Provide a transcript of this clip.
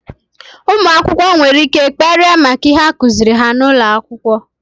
ụmụakwụkwọ nwere ike kparịa maka ihe akuziri ha n'ụlọ akwụkwọ.